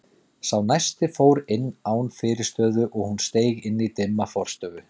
Sá næsti fór inn án fyrirstöðu og hún steig inn í dimma forstofu.